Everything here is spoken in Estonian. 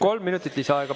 Kolm minutit lisaaega.